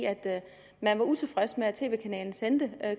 man var utilfreds med at tv kanalen sendte